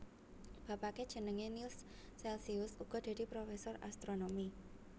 Bapake jenenge Nills Celcius uga dadi professor astronomi